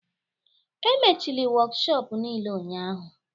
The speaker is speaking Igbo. Emechili wokshop niile ụnyahụ